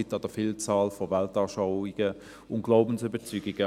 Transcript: Denn es gibt eine Vielzahl von Weltanschauungen und Glaubensüberzeugungen.